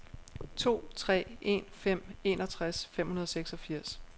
to tre en fem enogtres fem hundrede og seksogfirs